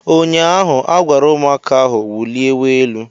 Ụnyaahụ agwara ụmụaka ahụ wuliewe elu!